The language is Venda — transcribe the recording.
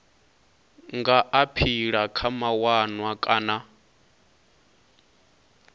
nga aphila kha mawanwa kana